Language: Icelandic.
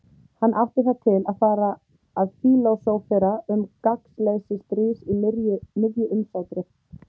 Hann átti það til að fara að fílósófera um gagnsleysi stríðs í miðju umsátri.